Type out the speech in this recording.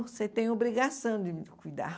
Você tem obrigação de me cuidar.